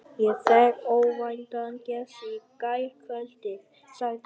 Ég fékk óvæntan gest í gærkvöldi, sagði hann.